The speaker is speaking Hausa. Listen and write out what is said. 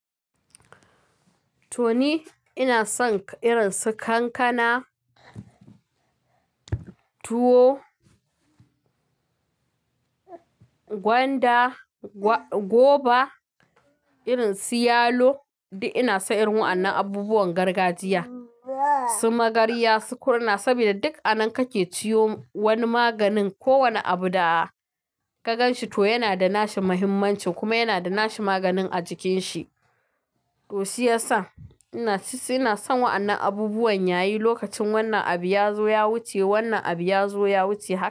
To ni ina son irin su kankana, tuwo, gwanda, goba, irin su yalo duk ina son irin wa'annan abubuwan gargajiya. Suna magarya su kurna sabida duk a nan kake ciyo wani maganin ko wane abu da ka ganshi to yana da nashi muhimmanci kuma yana da nashi maganin a jikin shi. To shiyasa ina suna son wa'annan abubuwan yayi lokacin wannan abu ya zo ya wuce wannan abu ya zo ya wuce haka.